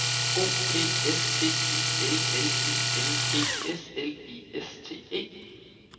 O P S T I L L I N G S L I S T E